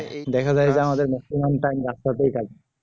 দেখা যায় যে বেশির ভাগ time রাস্তাতেই কাজ